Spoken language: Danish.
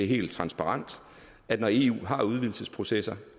helt transparent at når eu har udvidelsesprocesser